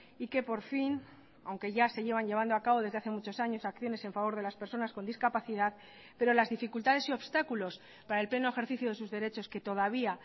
y que por fin aunque ya se llevan llevando a cabo desde hace muchos años acciones en favor de las personas con discapacidad pero las dificultades y obstáculos para el pleno ejercicio de sus derechos que todavía